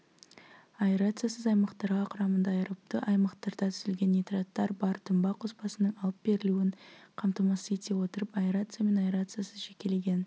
аэрациясыз аймақтарға құрамында аэробты аймақтарда түзілген нитраттар бар тұнба қоспасының алып берілуін қамтамасыз ете отырып аэрация мен аэрациясыз жекелеген